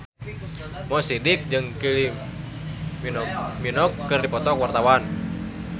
Mo Sidik jeung Kylie Minogue keur dipoto ku wartawan